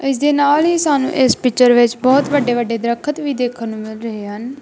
ਇਸ ਦੇ ਨਾਲ ਹੀ ਸਾਨੂੰ ਇਸ ਪਿਕਚਰ ਵਿੱਚ ਬਹੁਤ ਵੱਡੇ-ਵੱਡੇ ਦਰਖ਼ਤ ਵੀ ਦੇਖਣ ਨੂੰ ਮਿਲ ਰਹੇ ਹਨ।